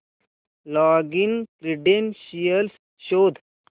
login credentials शोध